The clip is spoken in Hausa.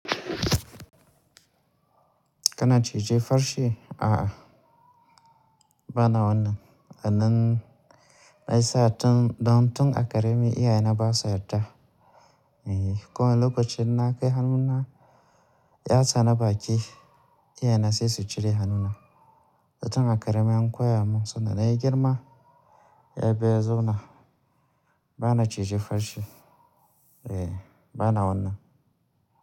Kana cije farce? A'a, bana wannan. A nan nayi sa'ad don tun a ƙarami iyaye na ba su yarda. Eh, kuma lokacin na kai hannuna ya tsana baki, iyaye na sai su cire hannuna. Tun a ƙarami an koya mun sanda na yi girma, ya fi ya zauna. Bana cije farce. Eh, bana wannan.